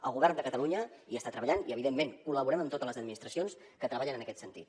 el govern de catalunya hi està treballant i evidentment col·laborem amb totes les administracions que treballen en aquest sentit